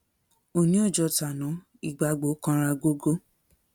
òní ò jọ tàná ìgbágbó kanra gógó